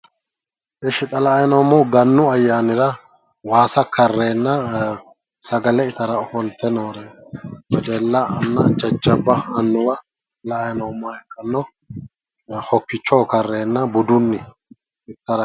Ishi xaa la"ayi noomohu gannu ayyanira waasa kareena sagale ittara ofolte noore wedelana jajjabba anuwa la"ayi noomoha ikkana hokkicho kareena budunni ittara